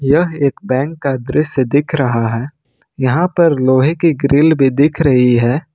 यह एक बैंक का दृश्य दिख रहा है यहां पर लोहे की ग्रिल भी दिख रही है।